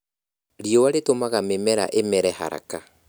Riũa rĩtũmaga mĩmera ĩmere haraka